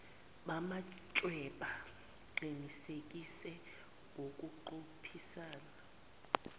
bamachweba qinisekise ngokuqophisana